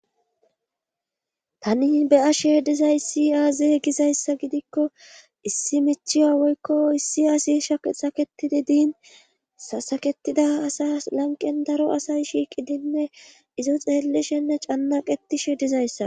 Tani beya sheedizayssi aaze gizayssa gidikko issi michiya woykko issi asi shsaketidi diin sasaketida asa lanqen daro asay shiiqidinne izo xeellishenne cannaqetishe dizayssa.